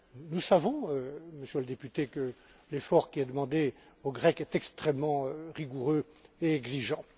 Nous savons, Monsieur le député, que l'effort qui est demandé aux Grecs est extrêmement rigoureux et exigeant.